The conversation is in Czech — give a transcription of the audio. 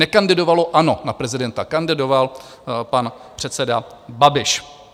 Nekandidovalo ANO na prezidenta, kandidoval pan předseda Babiš.